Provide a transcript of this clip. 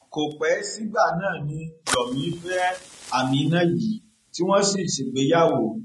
kò pẹ sígbà náà ni yomi fẹ ameenah yìí tí wọn sì ṣègbéyàwó